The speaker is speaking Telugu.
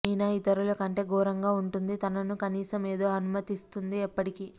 నినా ఇతరులు కంటే ఘోరంగా ఉంటుంది తనను కనీసం ఏదో అనుమతిస్తుంది ఎప్పటికీ